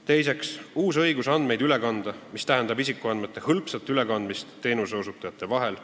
Teiseks tekib uus õigus andmeid üle kanda, mis võimaldab isikuandmete hõlpsat ülekandmist teenuseosutajate vahel.